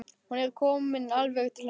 Hún er komin alveg til hans.